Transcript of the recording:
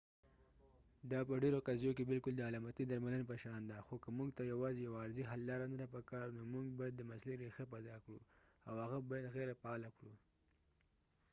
دا په ډېرو قضیو کې بالکل د علامتي درملنه په شان ده خو که موږ ته یواځې یو عارضي حل لاره نه ده پکار نو موږ باید د مسلې رېښه پیدا کړو او هغه باید غېرفعاله کړو